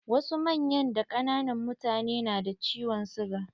Wasu manyan da ƙananan mutane na da ciwon siga.